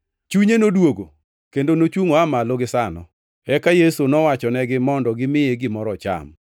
Chunye noduogo, kendo nochungʼ oa malo gisano. Eka Yesu nowachonegi mondo gimiye gimoro ocham.